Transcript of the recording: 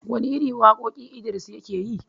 Wane irin waƙoƙi Idris yake yi?